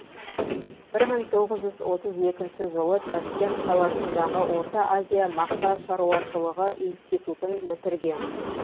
бір мың тоғыз жүз отыз екінші жылы ташкент қаласындағы орта азия мақта шаруашылығы институтын бітірген